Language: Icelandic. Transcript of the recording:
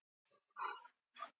Nú myndi stóllinn brenna.